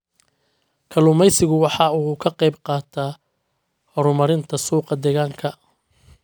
Kalluumaysigu waxa uu ka qayb qaataa horumarinta suuqa deegaanka.